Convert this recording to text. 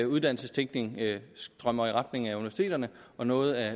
uddannelsestænkning strømmer i retning af universiteterne og noget af